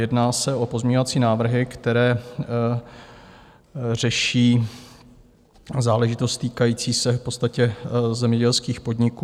Jedná se o pozměňovací návrhy, které řeší záležitost týkající se v podstatě zemědělských podniků.